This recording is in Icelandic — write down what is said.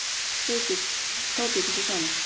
Þá bjuggu þau saman.